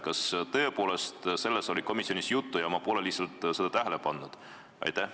Kas tõepoolest sellest oli komisjonis juttu ja ma pole lihtsalt seda tähele pannud?